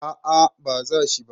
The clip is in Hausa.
a a ba za shi ba